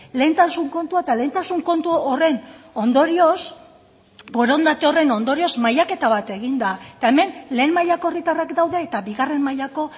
lehentasun kontua eta lehentasun kontu horren ondorioz borondate horren ondorioz mailaketa bat egin da eta hemen lehen mailako herritarrak daude eta bigarren mailako